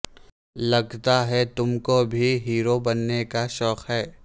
لگتا ہے تم کو بھی ہیرو بننے کا شوق ہے